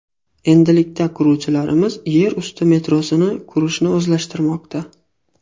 Endilikda quruvchilarimiz yer usti metrosini qurishni o‘zlashtirmoqda.